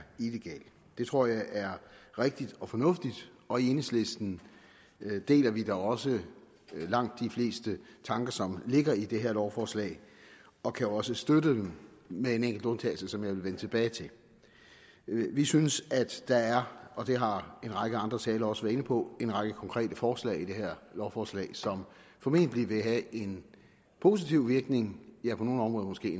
illegal det tror jeg er rigtigt og fornuftigt og i enhedslisten deler vi da også langt de fleste tanker som ligger i det her lovforslag og kan også støtte dem med en enkelt undtagelse som jeg vil vende tilbage til vi synes der er det har en række andre talere også været inde på en række konkrete forslag i det her lovforslag som formentlig vil have en positiv virkning ja på nogle områder måske